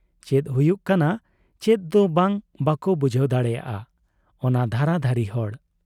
ᱪᱮᱫ ᱦᱩᱭᱩᱜ ᱠᱟᱱᱟ ᱪᱮᱫ ᱫᱚ ᱵᱟᱝ, ᱵᱟᱠᱚ ᱵᱩᱡᱷᱟᱹᱣ ᱫᱟᱲᱮᱭᱟᱜ ᱟ ᱚᱱᱟ ᱫᱷᱟᱨᱟ ᱫᱷᱟᱨᱤ ᱦᱚᱲ ᱾